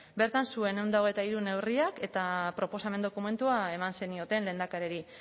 bertan zuen ehun eta hogeita hiru neurriak eta proposamen dokumentua eman zenioten lehendakari